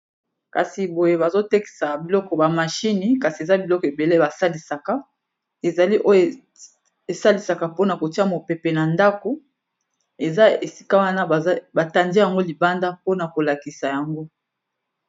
Kasi boye bazotekisa biloko ba machine kasi eza biloko ebele basalisaka ezali Oyo esalisaka Po na kotiya mopepe na ndaku eza esika Wana batandi yango libanda Po na kolakisa yango